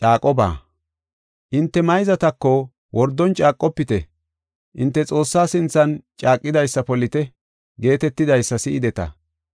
“Hinte mayzatako, ‘Wordon caaqofite; hinte Xoossaa sinthan caaqidaysa polite’ geetetidaysa si7ideta.